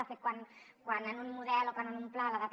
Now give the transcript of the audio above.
de fet quan en un model o quan en un pla la data